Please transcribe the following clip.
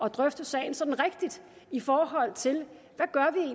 at drøfte sagen sådan rigtigt i forhold til